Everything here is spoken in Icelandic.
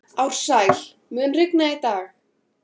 Ársæl, mun rigna í dag?